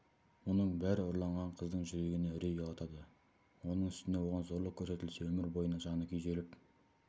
мұның бәрі ұрланған қыздың жүрегіне үрей ұялатады оның үстіне оған зорлық көрсетілсе өмір бойына жаны күйзеліп